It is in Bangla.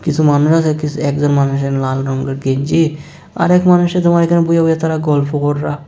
কিছু মানুষ আছে একজন মানুষের লাল রংয়ের গেঞ্জি আরেক মানুষে তোমার এহানে বইয়া বইয়া তারা গল্প কররা--